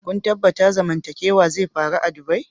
Kun tabatta zamantakewa zai faru a'dubai?